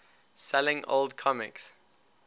selling old comics